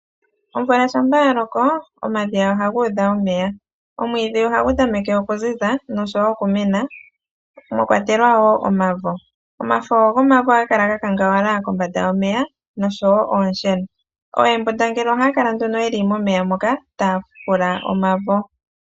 Omvula shampa yaloko omadhiya ohaga udha omeya. Omwiidhi ohagu tameke okuziza noshowo okumena, mwakwatelwa omavo omafo gomavo ohaga kala gakangawala kombanda yomeya noshowo oonsheno. Ooembundangele ohaya kala yeli momeya moka taya fukula omavo.